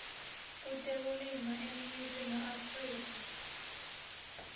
kutekulima eningizimu afrika